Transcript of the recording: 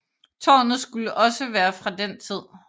Tårnet skulle også være fra den tid